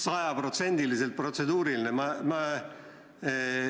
Sajaprotsendiliselt protseduuriline!